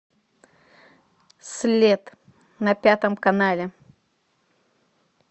след на пятом канале